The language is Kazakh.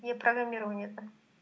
иә программированиядан